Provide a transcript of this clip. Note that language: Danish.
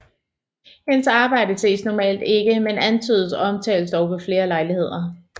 Hendes arbejde ses normalt ikke men antydes og omtales dog ved flere lejligheder